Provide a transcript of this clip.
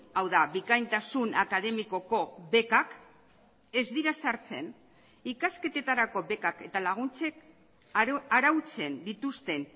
hau da bikaintasun akademikoko bekak ez dira sartzen ikasketetarako bekak eta laguntzek arautzen dituzten